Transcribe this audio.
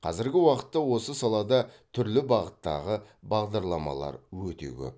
қазіргі уақытта осы салада түрлі бағыттағы бағдарламалар өте көп